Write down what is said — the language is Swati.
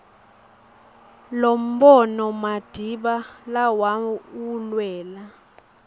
lombono madiba lawulwela